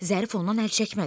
Zərif ondan əl çəkmədi.